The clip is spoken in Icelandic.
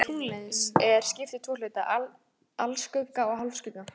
Skugga tunglsins er skipt í tvo hluta, alskugga og hálfskugga.